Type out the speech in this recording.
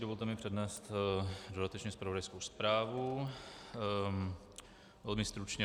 Dovolte mi přednést dodatečně zpravodajskou zprávu, velmi stručně.